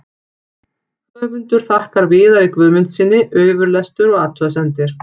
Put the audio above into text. Höfundur þakkar Viðari Guðmundssyni yfirlestur og athugasemdir.